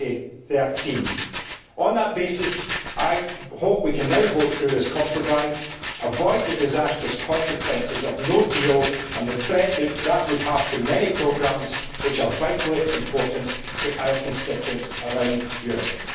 2013. On that basis, I hope we can now vote through this compromise, and avoid the disastrous consequences of no deal and the threat that would have to many programmes which are vitally important to our constituents around Europe.